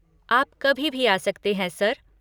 आप कभी भी आ सकते हैं, सर।